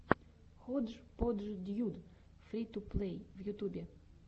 ходжподждьюд фри ту плей в ютубе